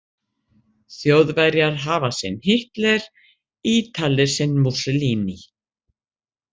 Þjóðverjar hafa sinn Hitler, Ítalir sinn Mussolini.